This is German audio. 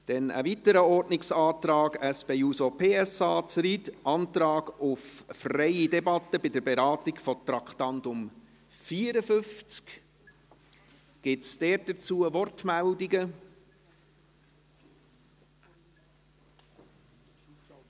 Zu einem weiteren Ordnungsantrag SP-JUSO-PSA/Zryd, Antrag auf freie Debatte bei der Beratung des Traktandums 54. Gibt es Wortmeldungen dazu?